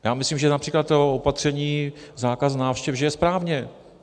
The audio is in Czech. Já myslím, že například to opatření zákaz návštěv, že je správně.